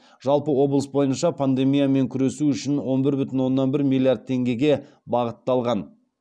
жалпы облыс бойынша пандемиямен күресу үшін он бір бүтін оннан бір миллиард теңгеге бағытталған